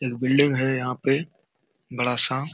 एक बिल्डिंग है यहाँ पे बड़ा सा।